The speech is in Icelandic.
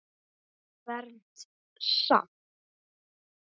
Fermt samt.